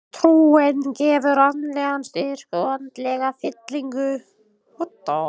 Trúin gefur andlegan styrk og andlega fyllingu.